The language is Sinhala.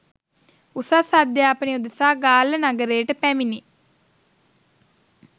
උසස් අධ්‍යාපනය උදෙසා ගාල්ල නගරයට පැමිණි